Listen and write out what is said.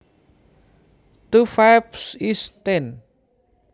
Two fives is ten